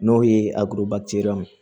N'o ye